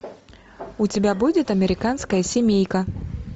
у тебя будет американская семейка